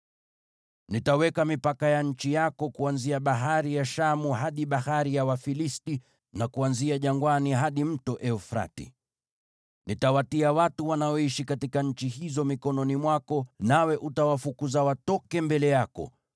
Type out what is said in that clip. “Nitaweka mipaka ya nchi yako kuanzia Bahari ya Shamu hadi Bahari ya Wafilisti, na kuanzia jangwani hadi Mto Frati. Nitawatia watu wanaoishi katika nchi hizo mikononi mwako, nawe utawafukuza watoke mbele yako.